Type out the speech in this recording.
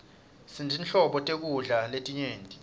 sinetinhlobo tekudla letinyenti